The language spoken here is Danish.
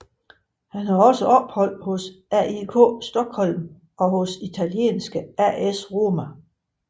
Han havde også ophold hos AIK Stockholm og hos italienske AS Roma